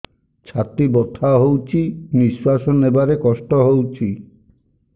ଛାତି ବଥା ହଉଚି ନିଶ୍ୱାସ ନେବାରେ କଷ୍ଟ ହଉଚି